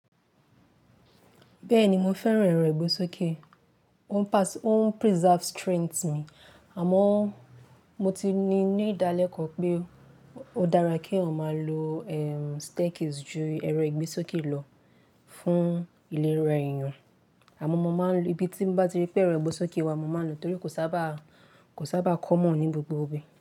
Bẹ́ẹ̀ni, mo fẹ́ràn ẹrọ ìgbésókè, ó ń preserve strength mi àmọ́ mo ti ní ìdálẹ̀kọ̀ pé ó dára kí èèyàn máa lo, eh, staircase ju ẹrọ ìgbésókè lọ fún ìlera èèyàn. Àmọ́ mo máa ń lo, ibi tí bá ti rí pé ẹrọ ìgbésókè wà, mo máa lò nítorí kò sábà, kò sábà common ní gbogbo ibi.